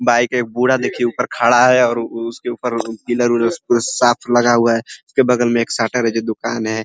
Bike है एक बूढ़ा देखिये ऊपर खड़ा है और उसके ऊपर पिलर ऊलर उ साथ लगा हुआ है। उसके बगल में एक शटर है जो दुकान है ।